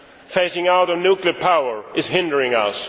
Phasing out nuclear power is hindering us.